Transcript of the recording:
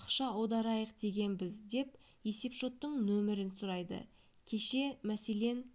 ақша аударайық дегенбіз деп есепшоттың номерін сұрайды кеше мәселен